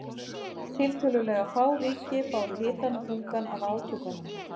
Tiltölulega fá ríki báru hitann og þungann af átökunum.